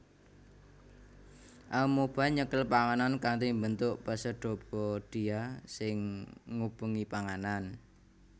Amoeba nyekel panganan kanthi mbentuk pseudopodia sing ngubengi panganan